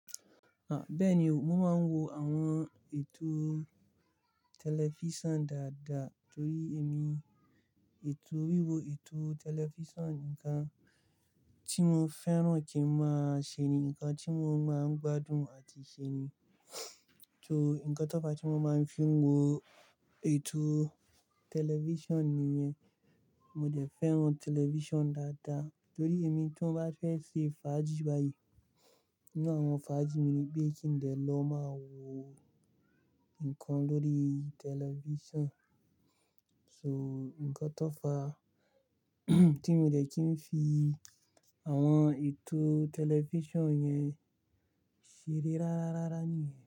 Bẹ́ẹ̀ni o, mo máa ń wo àwọn ètò tẹlifísàn dáadáa torí èmi ètò wíwo ètò tẹlifísàn nǹkan tí mo fẹ́ràn kí n máa ṣe ni, nǹkan tí mo máa ń gbádùn àti ṣe ni. So nǹkan tó fa tí mo máa ń fi wo ètò tẹlifísàn nìyẹn. Mo dẹ̀ fẹ́ràn tẹlifísàn dáadáa torí èmi tí mo bá fẹ́ ṣe fàájì báyìí, nínú àwọn fàájì mi ni pé kí n dẹ́ lọ máa wo nǹkan lórí tẹlifísàn. So nǹkan tó fa tí mi o dẹ̀ kí n fi àwọn ètò tẹlifísàn yẹn ṣeré rárárára ni.